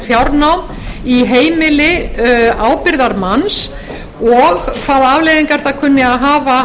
fjárnám í heimili ábyrgðarmanns og hvaða afleiðingar það kunni að hafa